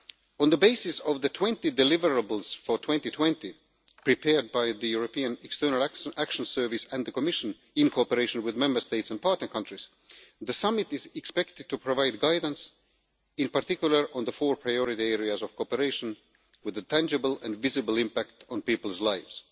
On the basis of the 20 deliverables for 2020 prepared by the European External Action Service and the Commission, in cooperation with Member States and partner countries, the summit is expected to provide guidance, in particular, on the four priority areas of cooperation with their tangible and visible impact on people's lives.